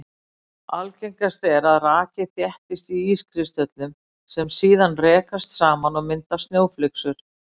Algengast er að raki þéttist á ískristöllum sem síðan rekast saman og mynda snjóflyksur.